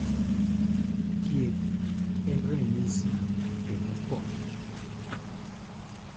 Thieth en ranyisi kendo konyo.